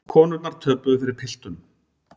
Konurnar töpuðu fyrir piltunum